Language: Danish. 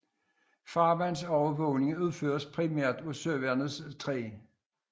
Farvandsovervågningen udføres primært af søværnets 3